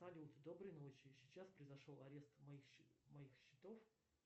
салют доброй ночи сейчас произошел арест моих счетов